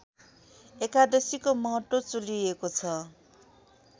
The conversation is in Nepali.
एकादशीको महत्त्व चुलिएको छ